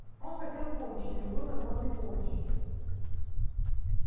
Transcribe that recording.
он хотел помощи любой возможной помощи